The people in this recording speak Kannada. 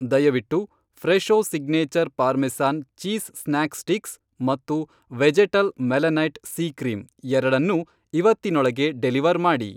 ದಯವಿಟ್ಟು Fresho signature parmesan cheese snack sticks ಮತ್ತು ವೆಜೆಟಲ್ ಮೆಲನೈಟ್ ಸಿ ಕ್ರೀಂ ಎರಡನ್ನೂ ಇವತ್ತಿನೊಳಗೆ ಡೆಲಿವರ್ ಮಾಡಿ.